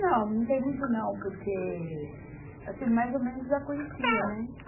Não, não tem muito não, porque, assim, mais ou menos eu já conhecia, né?